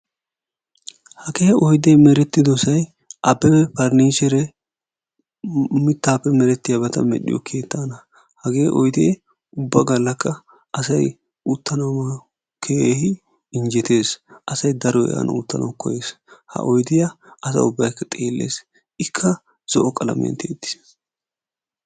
Hagee oyidee merettidosay Abebe ferniichere mittaappe meretiyaabata medhiyo keettaana. hagee oyidee ubba gallakka asay uttanawu keehin injettes. asay daroy an uttanawu koyes. Ha oyidiya asa ubbayikka xeelles. Ikka zo"o qalamiyan teyettis.